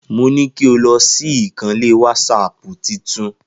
Mo ní kó lọ ṣí ìkànnlé wásápù titun.